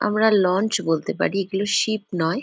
আমরা লঞ্চ বলতে পারি এগুলি শিপ নয়।